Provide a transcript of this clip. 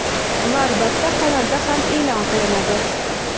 Va albatta kanalda ham eʼlon qilinadi.